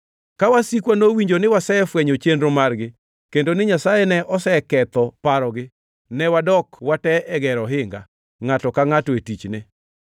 Ka wasikwa nowinjo ni wasefwenyo chenro margi kendo ni Nyasaye ne oseketho parogi, ne wadok wate e gero ohinga, ngʼato ka ngʼato e tichne.